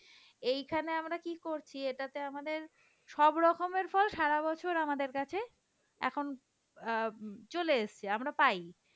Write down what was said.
এইখানে আমরা কি করছি এটাতে আমাদের সব রকমের ফল সারা বছর আমাদের কাছে এখন অ্যাঁ চলে এসেছে আমরা পাই,